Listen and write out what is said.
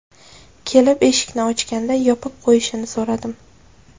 Kelib, eshikni ochganda yopib qo‘yishini so‘radim.